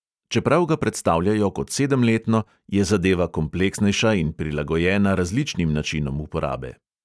Čeprav ga predstavljajo kot sedemletno, je zadeva kompleksnejša in prilagojena različnim načinom uporabe.